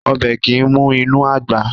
Ọbẹ̀ kìí mì inú àgbà